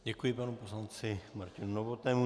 Děkuji panu poslanci Martinu Novotnému.